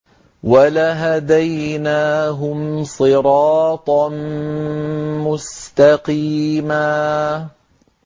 وَلَهَدَيْنَاهُمْ صِرَاطًا مُّسْتَقِيمًا